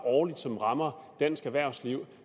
årligt som rammer dansk erhvervsliv